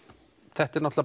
þetta er